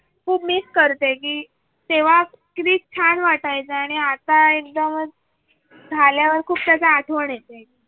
Miss करते की तेव्हा कीती छान वाटायचा आणि आता एकदमच झाल्यावर खूपच आठवण येते.